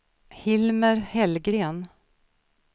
Hilmer Hellgren